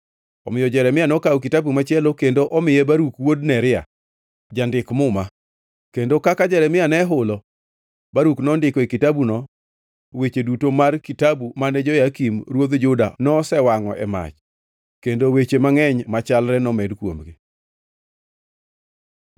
Omiyo Jeremia nokawo kitabu machielo kendo omiye Baruk wuod Neria jandik muma, kendo kaka Jeremia ne ohulo, Baruk nondiko e kitabuno weche duto mar kitabu mane Jehoyakim ruodh Juda nosewangʼo e mach kendo weche mangʼeny machalre nomed kuomgi.